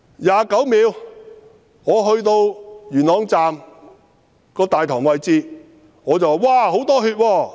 29秒：我到了元朗站大堂位置，我說："哇！